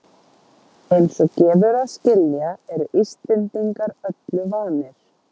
Eins og gefur að skilja eru Íslendingar öllu vanir.